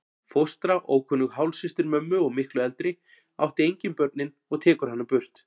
Fóstra, ókunnug hálfsystir mömmu og miklu eldri, átti engin börnin og tekur hana burt.